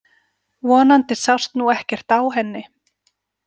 Vonandi sást nú ekkert á henni.